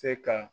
Se ka